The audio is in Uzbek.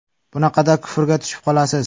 Bunaqada kufrga tushib qolasiz.